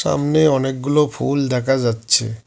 সামনে অনেকগুলো ফুল দেখা যাচ্ছে।